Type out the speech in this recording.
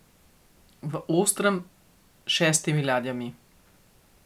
V Ostrem s šestimi ladjami.